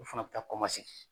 U fana bɛ taa